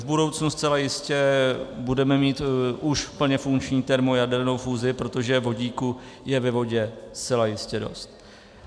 V budoucnu zcela jistě budeme mít už plně funkční termojadernou fúzi, protože vodíku je ve vodě zcela jistě dost.